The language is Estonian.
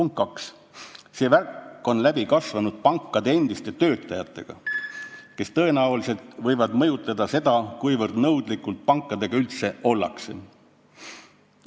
Teiseks, see värk on läbi kasvanud pankade endiste töötajatega, kes tõenäoliselt võivad mõjutada seda, kui nõudlikud pankadega üldse ollakse.